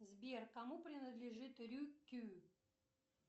сбер кому принадлежит рюкю